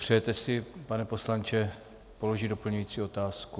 Přejete si, pane poslanče, položit doplňující otázku?